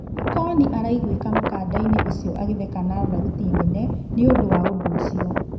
Nikoni araiguĩka mũkandainĩ ũcio agĩtheka na thauti nene nĩũndũ wa ũndũ ũcio.